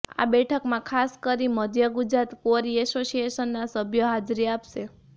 આ બેઠકમાં ખાસ કરી મધ્ય ગુજરાત ક્વોરી એસોસિએશનના સભ્યો હાજરી આપશે